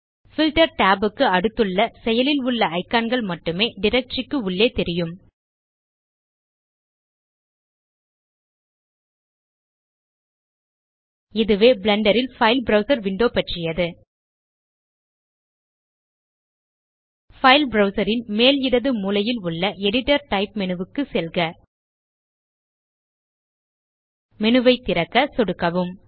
filter tab க்கு அடுத்துள்ள செயலில் உள்ள இக்கான் கள் மட்டுமே டைரக்டரி க்கு உள்ளே தெரியும் இதுவே பிளெண்டர் ல் பைல் ப்ரவ்சர் விண்டோ பற்றியது பைல் ப்ரவ்சர் ன் மேல் இடது மூலையில் உள்ள எடிட்டர் டைப் மேனு க்கு செல்க மேனு ஐ திறக்க சொடுக்கவும்